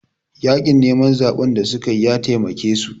Yaƙin neman zaɓen da suka yi ya taimake su